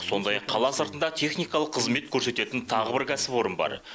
сондай ақ қала сыртында техникалық қызмет көрсететін тағы бір кәсіпорын бар